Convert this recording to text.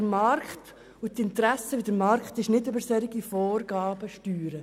Man kann den Markt nicht über solche Vorgaben steuern.